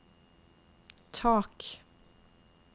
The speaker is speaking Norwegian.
tak